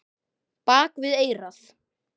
Bak við eyrað.